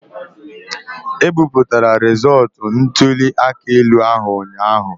E bipụtara rịzọọtụ ntuli aka elu ahụ ụnyaahụ.